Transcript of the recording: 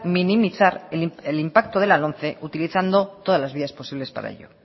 minimizar el impacto de la lomce utilizando todas las vías posibles para ello